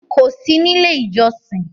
Kò sí nílé-ìjọsin?